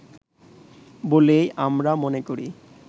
বলেই আমরা মনে করি